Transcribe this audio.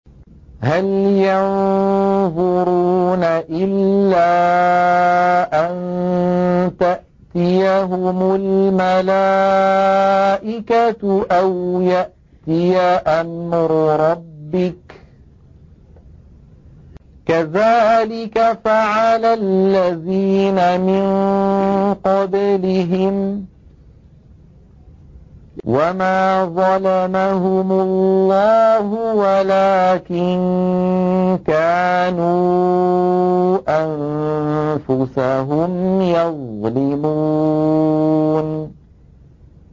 هَلْ يَنظُرُونَ إِلَّا أَن تَأْتِيَهُمُ الْمَلَائِكَةُ أَوْ يَأْتِيَ أَمْرُ رَبِّكَ ۚ كَذَٰلِكَ فَعَلَ الَّذِينَ مِن قَبْلِهِمْ ۚ وَمَا ظَلَمَهُمُ اللَّهُ وَلَٰكِن كَانُوا أَنفُسَهُمْ يَظْلِمُونَ